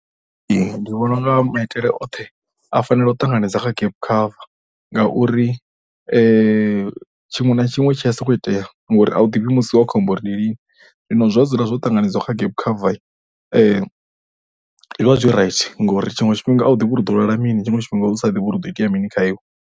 Ndi vhona u nga maitele oṱhe a fanela u ṱanganedza kha gap cover ngauri tshiṅwe na tshiṅwe tshi a sokou itea ngauri a u ḓivhi musi wa khombo uri ndi lini. Zwino zwa dzula zwo ṱanganedziwa kha gap cover zwi vha zwi right ngori tshiṅwe tshifhinga a u ḓivhi uri u lwala mini. Tshiṅwe tshifhinga u sa ḓivhi uri hu ḓo itea mini kha iwe.